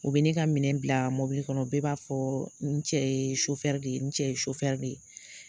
U bɛ ne ka minɛn bila mɔbili kɔnɔ bɛɛ b'a fɔ n cɛ ye de ye n cɛ ye de ye